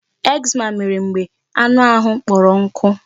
Eczema mere mgbe anụ ahụ kpọrọ nkụ.